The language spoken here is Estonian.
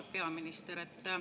Halb peaminister!